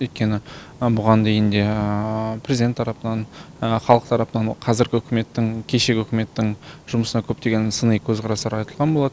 өйткені бұған дейін де президент тарапынан халықтың тарапынан қазіргі үкіметтің кешегі үкіметтің жұмысына көптеген сыни көзқарастар айтылған болатын